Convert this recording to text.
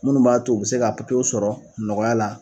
Munnu b'a to u bi se k'a w sɔrɔ nɔgɔya la